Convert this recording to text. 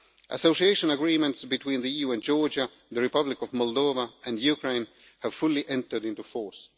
Association agreements between the EU and Georgia, the Republic of Moldova and Ukraine have fully entered into force.